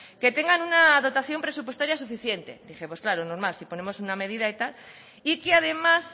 que tengan una dotación presupuestaria suficiente dije pues claro normal si ponemos una medida y tal y que además